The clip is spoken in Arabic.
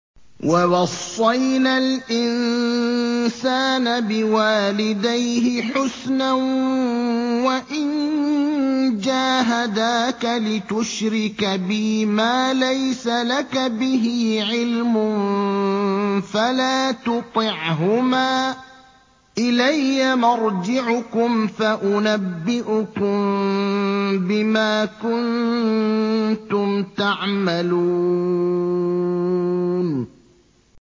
وَوَصَّيْنَا الْإِنسَانَ بِوَالِدَيْهِ حُسْنًا ۖ وَإِن جَاهَدَاكَ لِتُشْرِكَ بِي مَا لَيْسَ لَكَ بِهِ عِلْمٌ فَلَا تُطِعْهُمَا ۚ إِلَيَّ مَرْجِعُكُمْ فَأُنَبِّئُكُم بِمَا كُنتُمْ تَعْمَلُونَ